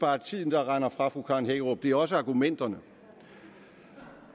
bare er tiden der render fra fru karen hækkerup det er også argumenterne